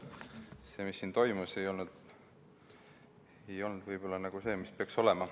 See, mis siin toimus, ei olnud võib-olla see, mis oleks pidanud olema.